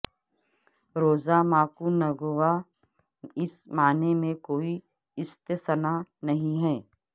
روزا ماکونگووا اس معنی میں کوئی استثنا نہیں ہے